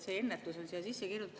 See ennetus on siia sisse kirjutatud.